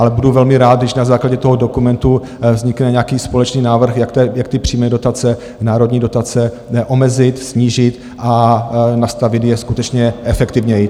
Ale budu velmi rád, když na základě toho dokumentu vznikne nějaký společný návrh, jak ty přímé dotace, národní dotace omezit, snížit a nastavit je skutečně efektivněji.